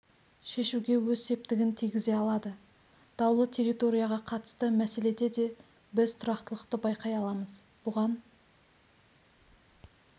шешуге өз септігін тигізе алады даулы территорияға қатысты мәселеде де біз тұрақтылықты байқай аламыз бұған